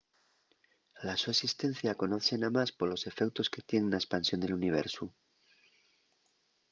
la so esistencia conozse namás polos efeutos que tien na espansión del universu